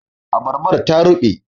Abarbar ta ruɓe